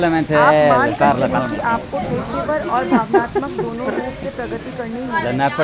आप मान कर चलें कि आपको पेशेवर और भावनात्मक दोनों रूप से प्रगति करनी होगी